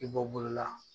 I bɔ bolo la